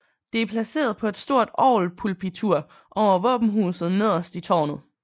Det er placeret på et stort orgelpulpitur over våbenhuset nederst i tårnet